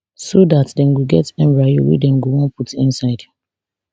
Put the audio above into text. so dat dem go get embryo wey dem go wan put inside